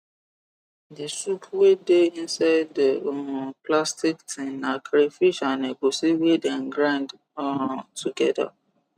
the soup wey dey inside the um plastic tin na crayfish an egusi wey dem grind um together